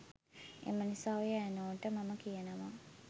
එම නිසා ඔය ඇනෝ ට මම කියනව